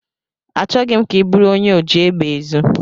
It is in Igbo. Achọghị m ka ị bụrụ onye oji egbe ezu.